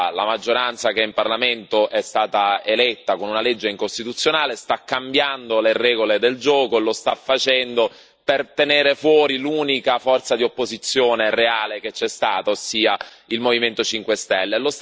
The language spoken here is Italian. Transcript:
la maggioranza, che in Parlamento è stata eletta con una legge incostituzionale, sta cambiando le regole del gioco e lo sta facendo per tenere fuori l'unica forza di opposizione reale che c'è stata, ossia il Movimento 5 Stelle.